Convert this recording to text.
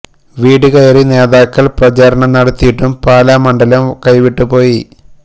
വീട് കയറി നേതാക്കള് പ്രചാരണം നടത്തിയിട്ടും പാലാ മണ്ഡലം കൈവിട്ട് പോയി